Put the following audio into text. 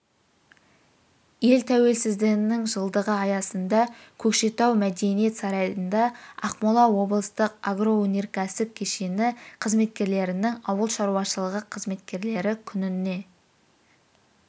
ел тәуелсіздігінің жылдығы аясында көкшетау мдениет сарайында ақмола облыстық агроөнерксіп кешені қызметкерлерінің ауыл шаруашылығы қызметкерлері күніне